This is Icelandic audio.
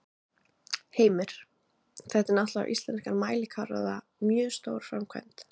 Heimir: Þetta er náttúrulega á íslenskan mælikvarða mjög stór framkvæmd?